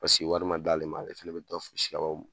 Paseke wari ma d'ale ma ale fɛnɛ bi dɔ fosi ka bɔ